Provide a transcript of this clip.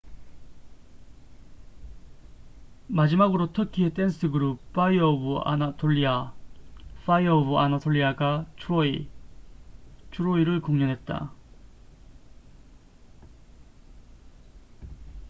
"마지막으로 터키의 댄스 그룹 파이어 오브 아나톨리아fire of anatolia가 "트로이troy""를 공연했다.